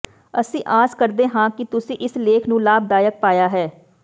ਅਸੀਂ ਆਸ ਕਰਦੇ ਹਾਂ ਕਿ ਤੁਸੀਂ ਇਸ ਲੇਖ ਨੂੰ ਲਾਭਦਾਇਕ ਪਾਇਆ ਹੈ